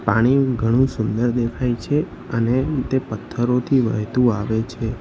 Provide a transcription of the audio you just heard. પાણી ઘણું સુંદર દેખાય છે અને તે પથ્થરોથી વહેતું આવે છે.